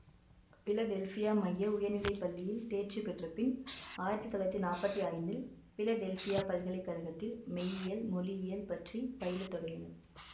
Philadelphia மைய உயர்நிலை பள்ளியில் தேர்ச்சி பெற்றபின் ஆயிரத்தி தொள்ளாயிரத்தி நாற்பத்தி ஐந்தில் பிலடெல்ஃவியா பல்கலை கழகத்தில் மெய்யியல் மொழியியல் பற்றி பயிலத் தொடங்கினார்